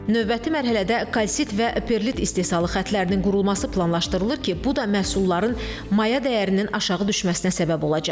Növbəti mərhələdə kalsit və perlit istehsalı xəttlərinin qurulması planlaşdırılır ki, bu da məhsulların maya dəyərinin aşağı düşməsinə səbəb olacaq.